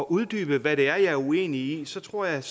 uddybe hvad det er jeg er uenig i så tror jeg